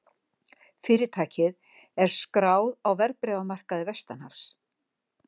Fyrirtækið er skráð á verðbréfamarkaði vestanhafs